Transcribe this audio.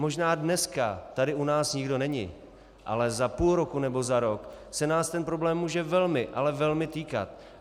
Možná dneska tady u nás nikdo není, ale za půl roku nebo za rok se nás ten problém může velmi, ale velmi týkat.